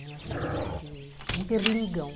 Elas elas se interligam.